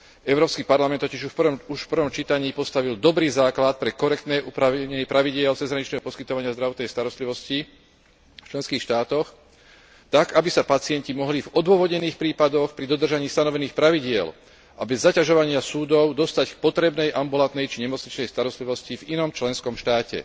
Európsky parlament totiž už v prvom čítaní postavil dobrý základ pre korektné upravenie pravidiel cezhraničného poskytovania zdravotnej starostlivosti v členských štátoch tak, aby sa pacienti mohli v odôvodnených prípadoch, pri dodržaní stanovených pravidiel a bez zaťažovania súdov dostať k potrebnej ambulantnej či nemocničnej starostlivosti v inom členskom štáte.